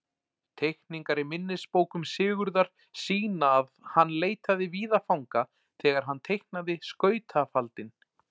Teikningar í minnisbókum Sigurðar sýna að hann leitaði víða fanga þegar hann teiknaði skautafaldinn.